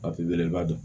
belebeleba dɔ